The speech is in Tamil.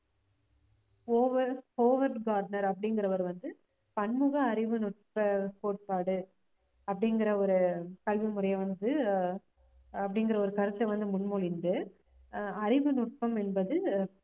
ஓவர் ஓவர் கார்ட்னர் அப்படிங்கிறவர் வந்து பன்முக அறிவு நுட்ப கோட்பாடு அப்படிங்கிற ஒரு கல்வி முறைய வந்து ஆஹ் அப்படிங்கிற ஒரு கருத்தை வந்து முன்மொழிந்து ஆஹ் அறிவு நுட்பம் என்பது